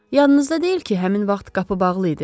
Yadınızda deyil ki, həmin vaxt qapı bağlı idi?